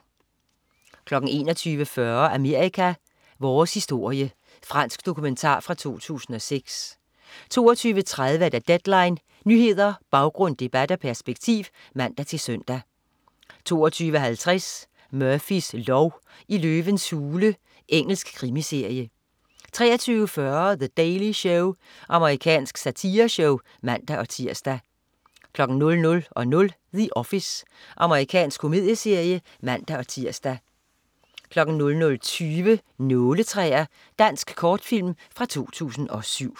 21.40 Amerika: Vores historie. Fransk dokumentar fra 2006 22.30 Deadline. Nyheder, baggrund, debat og perspektiv (man-søn) 22.50 Murphys lov: I løvens hule. Engelsk krimiserie 23.40 The Daily Show. Amerikansk satireshow (man-tirs) 00.00 The Office. Amerikansk komedieserie (man-tirs) 00.20 Nåletræer. Dansk kortfilm fra 2007